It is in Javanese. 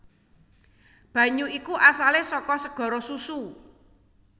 Banyu iku asalé saka segara susu